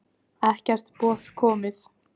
Ekkert boð komið